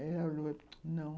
Ela falou, não.